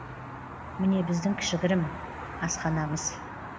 міне біздің кішігірім асханамыз